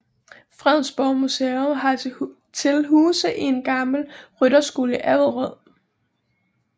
Fredensborg Museum har til huse i en gammel rytterskole i Avderød